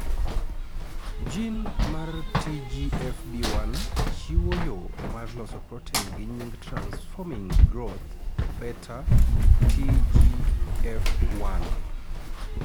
Gene mar TGFB1 chiwo yoo mar loso protein gi nying transforming growth beta(TGF 1)